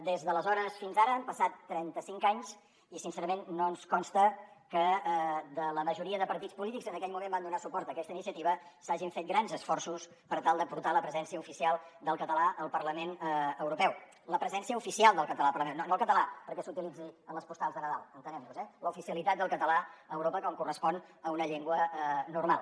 des d’aleshores fins ara han passat trenta cinc anys i sincerament no ens consta que de la majoria de partits polítics que en aquell moment van donar suport a aquesta iniciativa s’hagin fet grans esforços per tal de portar la presència oficial del català al parlament europeu la presència oficial del català al parlament no el català perquè s’utilitzi en les postals de nadal entenguem nos eh l’oficialitat del català a europa com correspon a una llengua normal